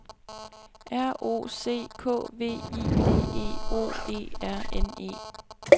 R O C K V I D E O E R N E